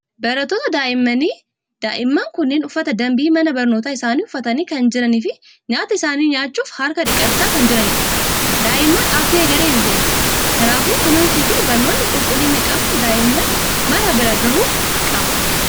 Barattoota daa'immanii. Daa'imman kunneen uffata danbii mana barnootaa isaanii uffatanii kan jiranii fi nyaata isaanii nyaachuuf harka dhiqachaa kan jiranidha. Daa'imman abdii egeree biyyaati. Kanaafuu kunuunsii fi barnoonni qulqullina qabu daa''imman mara bira gahuu qaba.